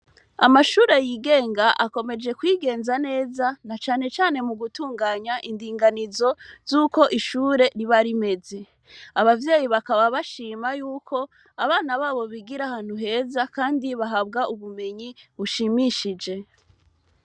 Amashure yigenga akomejekwigenza neza, na canecane mu gutunganya indinganizo z'uko ishure riba rimeze. Abavyyei bakaba bashima yuko abana babo bigira ahantu heza kandi bahabwa ubumenyi bushimishije.